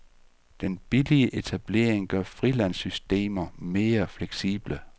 Den billige etablering gør frilandssystemer mere fleksible.